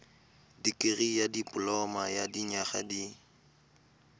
dikirii dipoloma ya dinyaga di